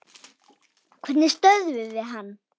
Hvernig stöðvum við hann?